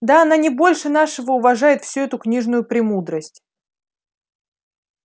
да она не больше нашего уважает всю эту книжную премудрость